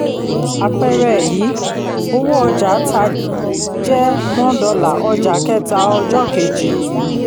àpẹẹrẹ yìí: owó ọjà tá jẹ one dollar ọjà kẹta ọjọ́ kejì.